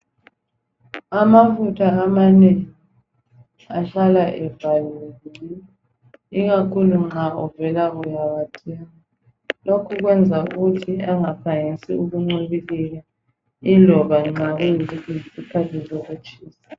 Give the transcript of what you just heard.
Amafutha amanengi ahlala evaliwe ikakhulu nxa uvela kuyawathenga .Lokhu kwenza ukuthi angaphangisa ukuncibilika yiloba nxa kuyisikhathi sokutshisa.